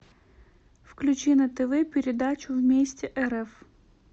включи на тв передачу вместе рф